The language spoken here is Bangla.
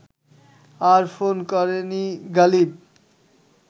আর ফোন করেনি গালিব